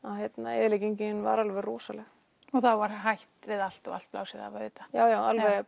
og eyðileggingin var alveg rosaleg og þá var hætt við allt og allt blásið af auðvitað já alveg